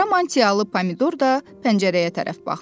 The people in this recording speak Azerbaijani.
Qara mantiyalı Pomidor da pəncərəyə tərəf baxdı.